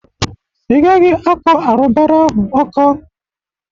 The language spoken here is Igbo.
Ï gaghi akọ arụbara ahụ ọkụ.